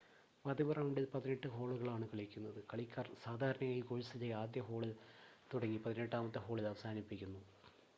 പതിവ് റൗണ്ടിൽ പതിനെട്ട് ഹോളുകളാണ് കളിക്കുന്നത് കളിക്കാർ സാധാരണയായി കോഴ്‌സിലെ ആദ്യ ഹോളിൽ തുടങ്ങി പതിനെട്ടാമത്തെ ഹോളിൽ അവസാനിപ്പിക്കുന്നു